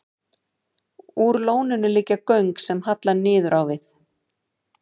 Úr lóninu liggja göng sem halla niður á við.